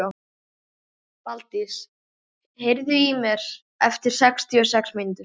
Daldís, heyrðu í mér eftir sextíu og sex mínútur.